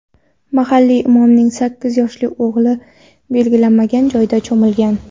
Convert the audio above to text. Mahalliy imomning sakkiz yoshli o‘g‘li belgilanmagan joyda cho‘milgan.